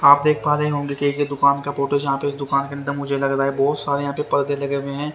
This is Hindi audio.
आप देख पा रहे होंगे कि एक दुकान का फोटो है जहां पे इस दुकान के अंदर मुझे लग रहा है बहुत सारे यहां पे पर्दे लगे हुए हैं।